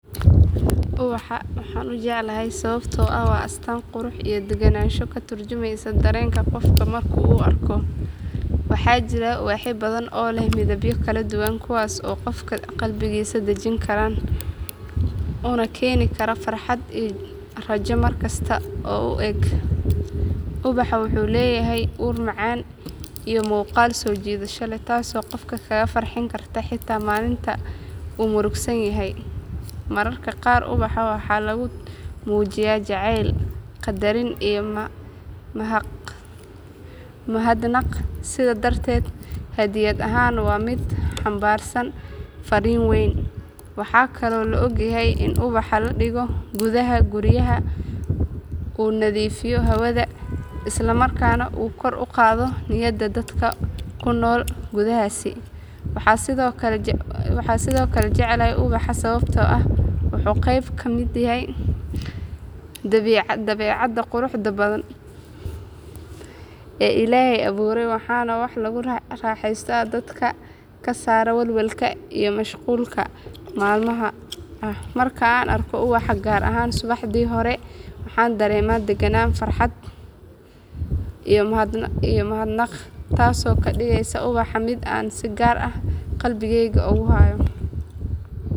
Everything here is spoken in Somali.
Ubaxa waxaan u jeclahay sababtoo ah waa astaan qurux iyo degganaansho ka tarjumaysa dareenka qofka marka uu arko. Waxaa jira ubaxyo badan oo leh midabyo kala duwan kuwaas oo qofka qalbigiisa dejin kara una keeni kara farxad iyo rajo markasta oo uu eego. Ubaxa wuxuu leeyahay ur macaan iyo muuqaal soo jiidasho leh taasoo qofka kaga farxin karta xitaa maalinta uu murugaysan yahay. Mararka qaar ubaxa waxaa lagu muujiyaa jacayl, qadarin, iyo mahadnaq sidaa darteed hadyad ahaan waa mid xambaarsan farriin weyn. Waxaa kaloo la ogyahay in ubax la dhigo gudaha guryaha uu nadiifiyo hawada isla markaana uu kor u qaado niyadda dadka ku nool gudahaas. Waxaan sidoo kale jeclahay ubaxa sababtoo ah wuxuu qayb ka yahay dabiicadda quruxda badan ee Ilaahay abuuray waana wax lagu raaxeysto oo dadka ka saara walwalka iyo mashquulka maalinlaha ah. Marka aan arko ubax, gaar ahaan subaxdii hore, waxaan dareemaa deganaan, farxad iyo mahadnaq taasoo ka dhigaysa ubaxa mid aan si gaar ah qalbigeyga ugu hayo.